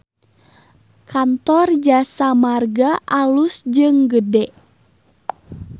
Kantor Jasa Marga alus jeung gede